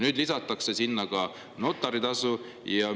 Nüüd lisatakse sinna notaritasu.